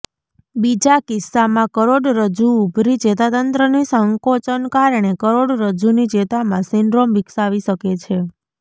બીજા કિસ્સામાં કરોડરજજુ ઉભરી ચેતાતંત્રની સંકોચન કારણે કરોડરજ્જુની ચેતામાં સિન્ડ્રોમ વિકસાવી શકે છે